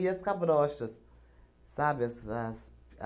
as cabrochas, sabe? As as